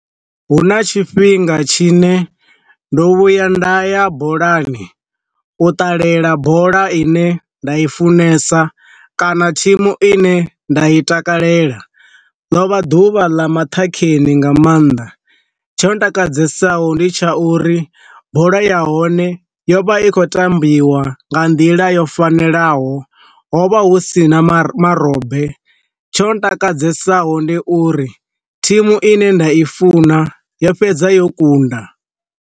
Hu na tshifhinga tshine ndo vhuya nda ya bolani u ṱalela bola ine nda i funesa kana thimu ine nda i takalela, ḽo vha ḓuvha ḽa maṱhakheni nga maanḓa, tsho ntakadzesa ho ndi tsha uri bola ya hone yo vha i khou tambiwa nga nḓila yo fanelaho ho vha hu sina mara marobe, tsho ntakadzesa ho ndi uri thimu ine nda i funa yo fhedza yo kunda.